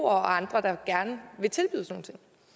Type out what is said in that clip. og andre der gerne vil tilbyde sådan